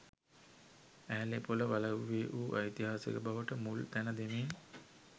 ඇහැළේපොළ වලව්වේ වූ ඓතිහාසික බවට මුල් තැන දෙමින්